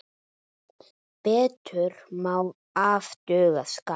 Betur má ef duga skal.